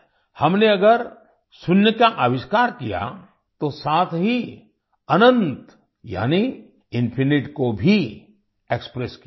हमने अगर शून्य का अविष्कार किया तो साथ ही अनंत यानि इन्फिनाइट को भी एक्सप्रेस किया है